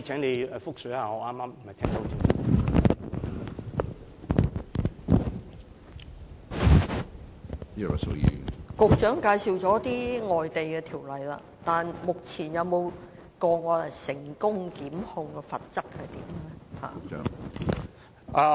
局長介紹了一些外地法例，但至今有否成功檢控的例子？